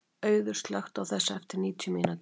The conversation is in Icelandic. Auður, slökktu á þessu eftir níutíu mínútur.